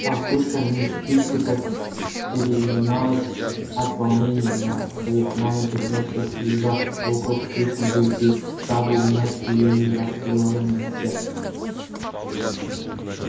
толстушка мисс питтипэт переминалась от волнения на своих маленьких ножках прижав руку к пышной груди дабы унять биение растревоженного сердца